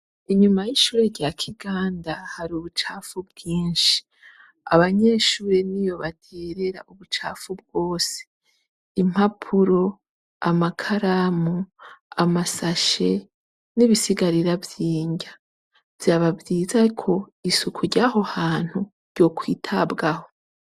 Inyuma y'ishure rya Kiganda hari ubucafu bwinshi. Abanyeshure niyo bagirira ubucafu bwose. Impapuro, amakaramu, amasashe n'ibisigarira vy'inrya. Vyaba vyiza ko isuku ryaho hantu ryokwitabwaho.